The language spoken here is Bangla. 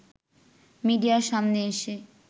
মিডিয়ার সামনে এসে